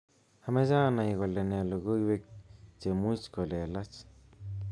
Amache anai kole nee logoiwek chemuch kolelach